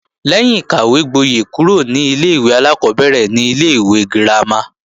Lẹ́yìn ìkàwégbóyè kúrò ní ilé-ìwé alákọ́bẹ̀rẹ̀ ni ilé-ìwé girama